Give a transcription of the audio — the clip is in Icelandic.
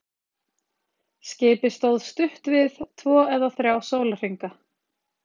Skipið stóð stutt við, tvo eða þrjá sólarhringa.